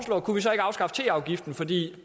afskaffe teafgiften fordi